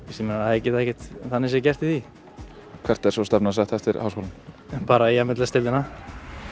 þeir geta ekkert þannig séð gert í því hvert er svo stefnan sett eftir háskólann bara í m l s deildina